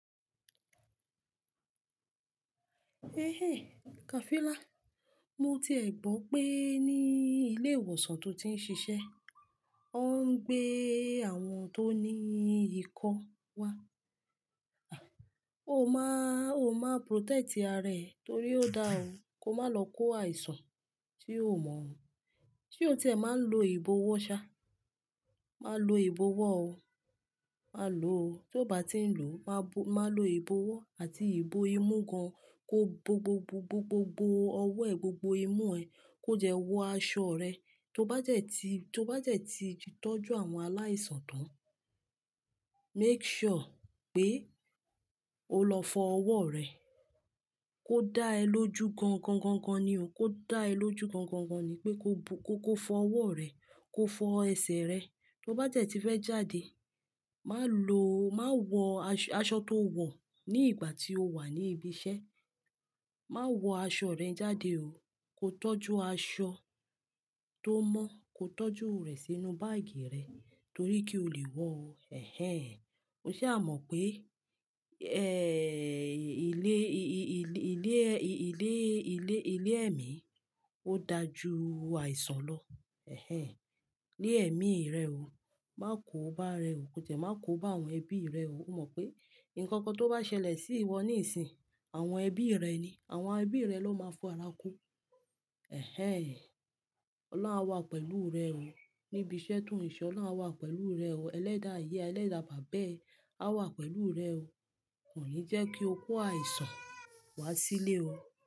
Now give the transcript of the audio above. Ehén Kafilá, mo ti è gbọ́ pé ní ilé ìwòsàn tó ti ń ṣiṣẹ́, wọ́n ń gbé àwọn tó ní ikọ́ wá. O má, o má protect ara rẹ torí ó da ọ, kó má lọ kó àìsàn tí o ò mọ̀ o. Ṣé o ti è máa ń lo ìbọ́wọ́ ṣá? Máa lo ìbọ́wọ́ o, máa lo o. Tí o bá ti ń lò, máa lo ìbọ́wọ́ àti ìbò imú gan kó gbogbogbogbogbo ọwọ́ ẹ, gbogbo imú ẹ kó jẹ wọ aṣọ rẹ. Tó bá jẹ ti, tó bá jẹ ti tọ́jú àwọn aláìsàn tán, make sure pé o lọ fọ ọwọ́ rẹ kó dá ẹ lójú gan gan gan gan ni o. Kó dá ẹ lójú gan gan gan ni pé kó bo, kó fọ ọwọ́ rẹ, kó fọ ẹsẹ̀ rẹ. Tó bá jẹ ti fẹ́ jáde, má lọ, má wọ aṣọ tó wọ̀ ní ìgbà tí o wà ní ibi iṣẹ́, má wọ aṣọ rẹ jáde o. Kó tọ́jú aṣọ tó mọ́, kó tọ́jú rẹ̀ sínú báàgì rẹ torí kí o lè wọ o. Ehén o ṣé a mọ pé, eh, ilé, i-i-ilé, i-ilé, ilé, ilé ẹ̀mí ó da ju àìsàn lọ. Ehén ilé ẹ̀mí rẹ o, má kóba rẹ o, kó tẹ, má kóba àwọn ẹbí rẹ o. O mọ pé nǹkan kan tó bá ṣẹlẹ̀ sí ìwọ níìsín, àwọn ẹbí rẹ ni, àwọn ẹbí rẹ ló máa fọ ara kú. Ehén Ọlọ́run á wà pẹ̀lú rẹ o níbi iṣẹ́ tó ń ṣe, Ọlọ́run á wà pẹ̀lú rẹ o. Elédà ìyá ẹ, ẹlẹ́dàá bàbá ẹ á wà pẹ̀lú rẹ o. Kò ní jẹ́ kí o kó àìsàn wá sílé o.